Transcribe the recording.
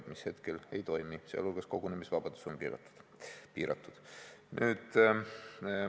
Need aga hetkel ei toimi, muu hulgas on piiratud kogunemisvabadus.